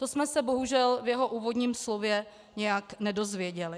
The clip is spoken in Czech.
To jsme se bohužel v jeho úvodním slově nějak nedozvěděli.